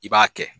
I b'a kɛ